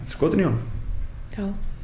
skotin í honum já